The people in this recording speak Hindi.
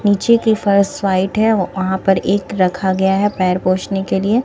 नीचे की फर्श व्हाइट है वहां पर एक रखा गया है पैर पोछने के लिए।